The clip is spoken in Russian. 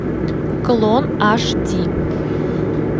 клон аш ди